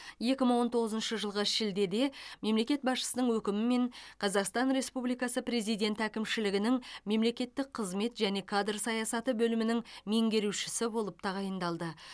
екі мың он тоғызыншы жылғы шілдеде мемлекет басшысының өкімімен қазақстан республикасы президенті әкімшілігінің мемлекеттік қызмет және кадр саясаты бөлімінің меңгерушісі болып тағайындалды